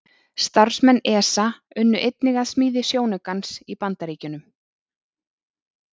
Starfsmenn ESA unnu einnig að smíði sjónaukans í Bandaríkjunum.